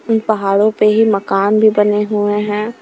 उन पहाड़ों पे ही मकान भी बने हुए हैं।